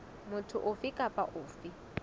motho ofe kapa ofe o